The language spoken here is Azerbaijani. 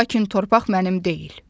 Lakin torpaq mənim deyil.